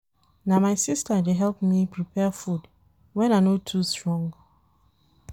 Na my sister dey help me prepare food wen I no too strong.